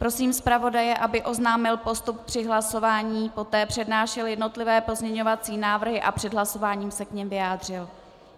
Prosím zpravodaje, aby oznámil postup při hlasování, poté přednášel jednotlivé pozměňovací návrhy a před hlasováním se k nim vyjádřil.